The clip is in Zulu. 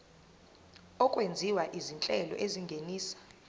okwenziwa izinhlelo ezingenisa